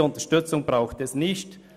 Diese Unterstützung braucht es nicht.